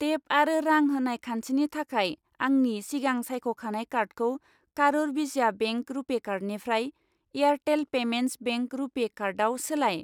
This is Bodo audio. टेप आरो रां होनाय खान्थिनि थाखाय आंनि सिगां सायख'खानाय कार्डखौ कारुर विसिया बेंक रुपे कार्डनिफ्राय एयारटेल पेमेन्टस बेंक रुपे कार्डआव सोलाय।